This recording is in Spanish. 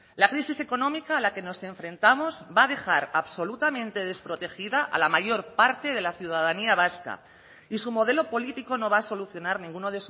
la crisis económica a la que nos enfrentamos va a dejar absolutamente desprotegida a la mayor parte de la ciudadanía vasca y su modelo político no va a solucionar ninguno